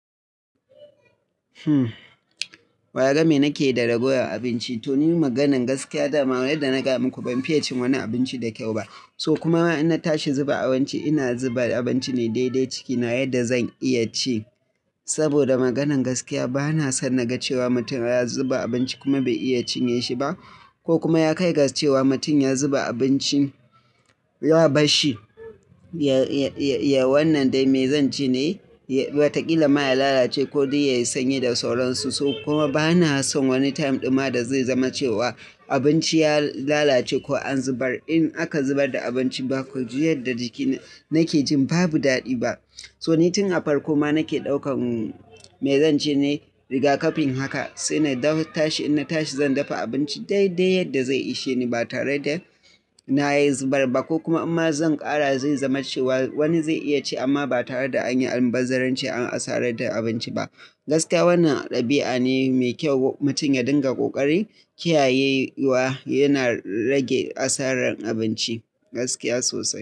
Wa ya ga me nake da ragowar abincin? To ni maganar gaskiya dama yaddq na gaya muku ban fiye cin wani abinci da kyau ba. So kuma in na tashi zuba abinci ina zuba abinci ne dai dai ciki na yadda zan iya ci. Saboda maganan gaskiya bana son na ga cewa mutum ya zuba abinci kuma bai iya cinye shi ba ko kuma ya kai ga cewa mutum ya zuba abinci ya barshi. Ya wannan dai me zan ci ne? Watakila ma ya lalace ko dai ya yi sanyi da sauransu. So kuma bana son wani time ɗin ma da zai zama cewa abinci ya lalace ko an zubar. In aka zubar da abinci ba ku ji yadda jiki nake jin babu daɗi ba. So ni tun a farko ma nake ɗaukan me zan ci ne riga kafin haka. Sai na tashi in na tashi zan dafa abinci dai dai yadda zai ishe ni ba tare da na zubar ba ko kuma amma zan ƙara zai zama cewa wani zai iya ci amma ba tare da an yi almubazzaranci an asarar da abinci ba. Gaskiya wannan ɗabi'a ne mai kyau mutum ya dinga ƙoƙari kiyaye wa yana rage asarar abinci gaskiya sosai.